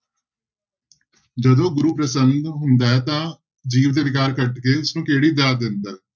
ਜਦੋਂ ਗੁਰੂ ਪ੍ਰਸੰਨ ਹੁੰਦਾ ਹੈ ਤਾਂ ਜੀਵ ਦੇ ਵਿਕਾਰ ਕੱਟ ਕੇ ਉਸਨੂੰ ਕਿਹੜੀ ਦਾਤ ਦਿੰਦਾ ਹੈ।